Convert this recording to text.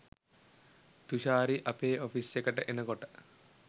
තුෂාරි අපේ ඔෆිස් එකට එනකොට